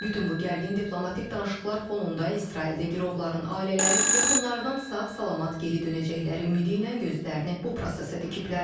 Bütün bu gərgin diplomatik danışıqlar fonunda İsraildə girovların ailələri yaxınlarının sağ-salamat geri dönəcəkləri ümidi ilə gözlərini bu prosesə dikiblər.